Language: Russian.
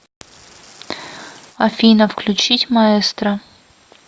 афина включить маэстро